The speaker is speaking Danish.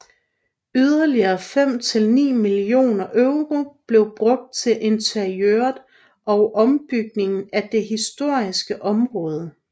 Yderligere fem til ni millioner euro blev brugt til interiøret og ombygningen af det historiske område